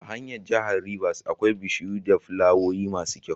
A hanyar jahar rivers akwai bishiyu da flawoyi masu kyau